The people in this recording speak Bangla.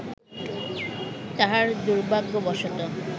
তাহার দুর্ভাগ্যবশত